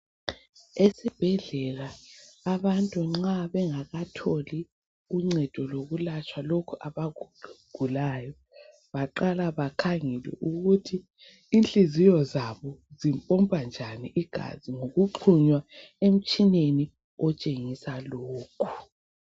Esibhedlela abantu nxa bengakatholi uncedo lokulatshwa lokhu abakugulayo, baqala bakhangele ukuthi inhliziyo zabo zipompa njani igazi ngokuxhunywa emitshineni otshengisa lokhu.